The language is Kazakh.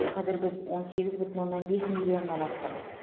қазір біз он сегіз бүтін оннан бес миллионнан астық